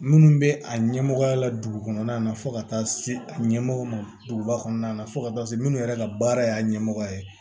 Minnu bɛ a ɲɛmɔgɔya la dugu kɔnɔna na fo ka taa se ɲɛmɔgɔw ma duguba kɔnɔna na fo ka taa se minnu yɛrɛ ka baara y'a ɲɛmɔgɔ ye